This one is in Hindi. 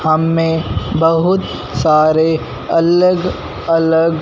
हमें बहुत सारे अलग अलग--